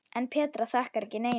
En Petra þakkar ekki neinum.